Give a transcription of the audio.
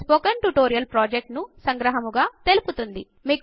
అది spoken tutorial project ను సంగ్రహముగా తెలుపుతుంది